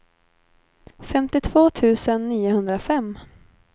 femtiotvå tusen niohundrafem